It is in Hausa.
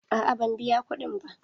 A'a ban biya kuɗin ba.